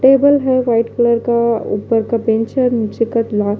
table है red colour का ऊपर का पिंच है नीचे का ला--